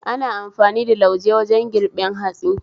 Ana amfani da lauje wajen girbin hatsi